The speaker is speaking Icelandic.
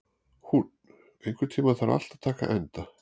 Húnn, einhvern tímann þarf allt að taka enda.